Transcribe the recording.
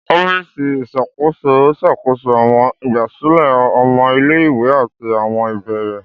Ọfíìsì iṣakoso n ṣakoso àwọn igbasilẹ ọmọ ile-iwe ati àwọn ibeere.